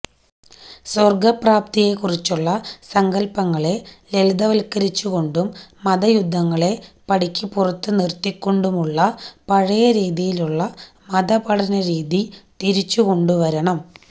സ്വര്ഗ്ഗപ്രാപ്തിയെ കുറിച്ചുള്ള സങ്കല്പങ്ങളെ ലളിതവത്കരിച്ചു കൊണ്ടും മതയുദ്ധങ്ങളെ പടിക്കു പുറത്തു നിര്ത്തിക്കൊണ്ടുമുള്ള പഴയ രീതിയിലുള്ള മതപഠന രീതി തിരിച്ചു കൊണ്ടുവരണം